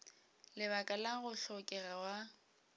lebaka la go hlokega ga